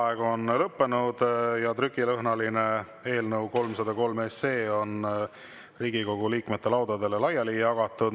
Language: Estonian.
Vaheaeg on lõppenud ja trükilõhnaline eelnõu 303 on Riigikogu liikmete laudadele laiali jagatud.